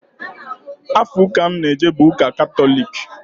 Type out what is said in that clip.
Afa ụka m n-eje bụ Ụka Katọlik.